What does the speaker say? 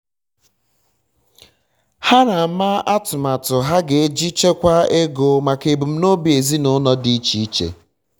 ha na-ama atụmatụ ha ga-eji chekwa ego maka ebumnobi ezịnụlọ dị iche n'iche